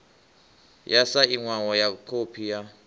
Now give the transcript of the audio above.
yo sainwaho ya khophi ya